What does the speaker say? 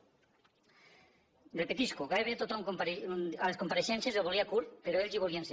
ho repetisc gairebé tothom a les compareixences el volia curt però ells hi volien ser